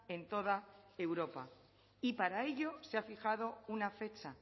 en toda europa y para ello se ha fijado una fecha